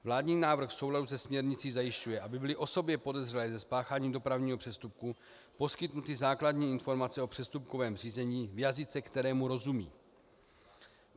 Vládní návrh v souladu se směrnicí zajišťuje, aby byly osobě podezřelé ze spáchání dopravního přestupku poskytnuty základní informace o přestupkovém řízení v jazyce, kterému rozumí.